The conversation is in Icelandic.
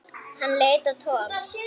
Hann leit á Tom.